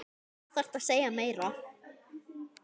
Hvað þarftu að segja meira?